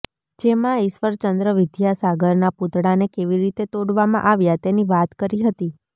જેમાં ઈશ્વરચંદ્ર વિદ્યાસાગરના પૂતળાને કેવી રીતે તોડવામાં આવ્યા તેની વાત કરી હતી